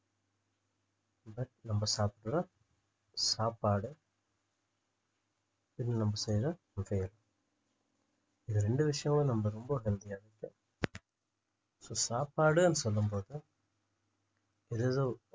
but நம்ப சாப்பிடுற சாப்பாடு பின்பு நம்ப செய்யுற வேலை இந்த ரெண்டு விஷயமும் நம்ம ரொம்ப healthy ஆ so சாப்பாடுன்னு சொல்லும்போது ஏதேதோ